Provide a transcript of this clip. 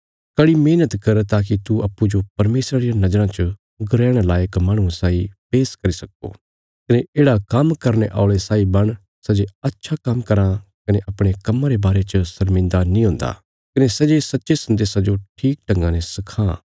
कड़ी मेहणत कर ताकि तू अप्पूँजो परमेशरा रिया नज़राँ च ग्रहण लायक माहणुये साई पेश करी सक्को कने येढ़ा काम्म करने औल़े साई बण सै जे अच्छा काम्म कराँ कने अपणे कम्मा रे बारे च शर्मिन्दा नीं हुन्दा कने सै जे सच्चे सन्देशा जो ठीक ढंगा ने सखां